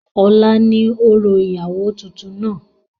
ọ̀la ni orò ìyàwó tuntun náà